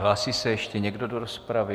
Hlásí se ještě někdo do rozpravy?